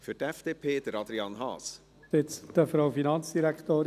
Zuerst zu Artikel 258 Absatz 2